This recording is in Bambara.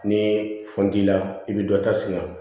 Ni funt'i la i bɛ dɔ ta sini ma